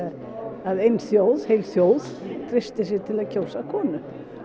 að heil þjóð heil þjóð treysti sér til að kjósa konu